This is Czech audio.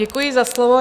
Děkuji za slovo.